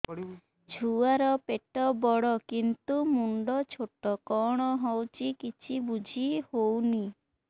ଛୁଆର ପେଟବଡ଼ କିନ୍ତୁ ମୁଣ୍ଡ ଛୋଟ କଣ ହଉଚି କିଛି ଵୁଝିହୋଉନି